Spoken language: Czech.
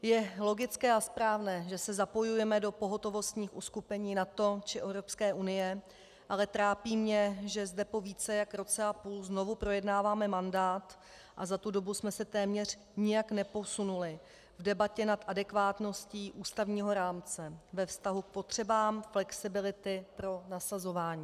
Je logické a správné, že se zapojujeme do pohotovostních uskupení NATO či EU, ale trápí mě, že zde po více jak roce a půl znovu projednáváme mandát a za tu dobu jsme se téměř nijak neposunuli v debatě nad adekvátností ústavního rámce ve vztahu k potřebám flexibility pro nasazování.